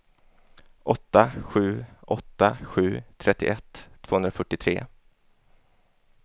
åtta sju åtta sju trettioett tvåhundrafyrtiotre